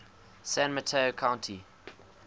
san mateo county